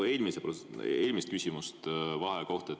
Ei, ma mõtlesin minu eelmist küsimust vaheaja kohta.